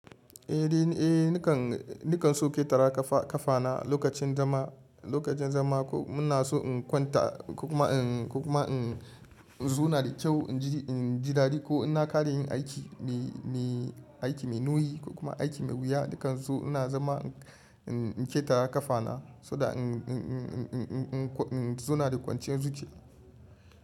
Eh, ni kan, ni kan so ƙetara ƙafa- ƙafana lokacin zama, lokacin zama ko muna so in kwanta ko kuma in, ko kuma in zo na da kyau in jiri, in ji dadi ko in na ƙare yin aiki mai, mai, aiki mai nauyi ko kuma aiki mai wuya, ni kan so ina zama in ƙetara ƙafana saboda in, in, in, in, in, in, in zo na da kwanciyar zuciya.